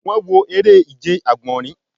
Wọn wọ ere-ije agbọnrin ati